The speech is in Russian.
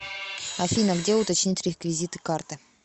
афина где уточнить реквизиты карты